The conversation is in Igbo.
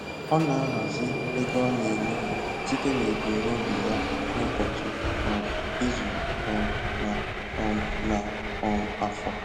Ọ na-ahazi ego ọ na-emefụ site n'ebumnobi ya n'ụbochị, um ịzu, um na um na um afọ